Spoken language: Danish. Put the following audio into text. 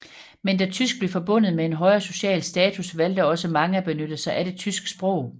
Men da tysk blev forbundet med en højere social status valgte også mange at benytte sig af det tyske sprog